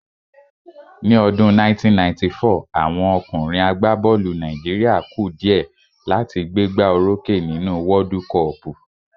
Ní ọdún 1994, àwọn ọkùnrin àgbá bọ́ọ̀lù Nàìjíríà ku dìẹ́ láti gbé gbá o rókè nínú wọ́ọ́dú kọọ̀pù